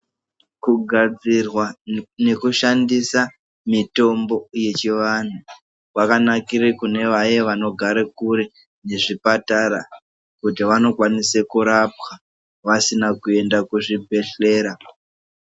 Kugadzirwa nekushandisa mitombo yechivantu kwakanakire kune vaya vanogara kure nezvipatara kuti wanokwanise kurapwa vasina kuenda kuzvibhedhlera.